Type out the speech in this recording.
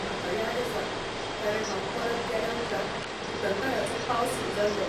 म्हाका याद आसा, कारण हांव परत गेल्याउपरांत उटंगारांचो पावस सुरू जाल्लो.